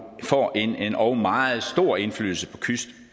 får en endog meget stor indflydelse på kyst